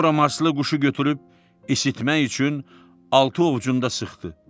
Sonra Marslı quşu götürüb isitmək üçün altı ovcunda sıxdı.